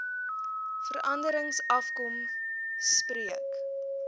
veranderings afkom spreek